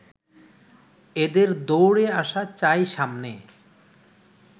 এদের দৌড়ে আসা চাই সামনে